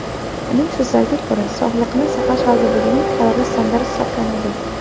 Uning so‘zlariga ko‘ra, Sog‘liqni saqlash vazirligining qarori standart hisoblanadi.